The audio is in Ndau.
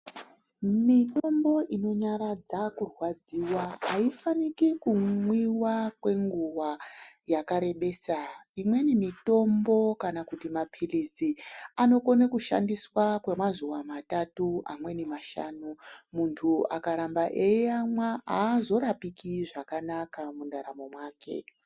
Mitombo inonyaradza kurwadziwa haifaniki kumwiwa kwenguwa yakarebesa. Imweni mitombo kana kuti maphilizi anokone kushandiswa kwemazuwa matatu amweni mashanu. Muntu akaramba eyiamwa haazorapiki zvakanaka mundaramo mwake.